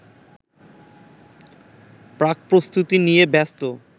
প্রাকপ্রস্তুতি নিয়ে ব্যস্ত